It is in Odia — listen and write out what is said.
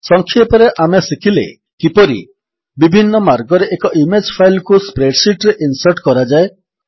ସଂକ୍ଷେପରେ ଆମେ ଶିଖିଲେ କିପରି ବିଭିନ୍ନ ମାର୍ଗରେ ଏକ ଇମେଜ୍ ଫାଇଲ୍ କୁ ସ୍ପ୍ରେଡ୍ ଶୀଟ୍ ରେ ଇନ୍ସର୍ଟ କରାଯାଏ